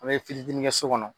An ye fitini fitini kɛ so kɔnɔ